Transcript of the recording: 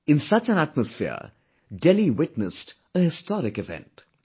In such an atmosphere, Delhi witnessed a historic event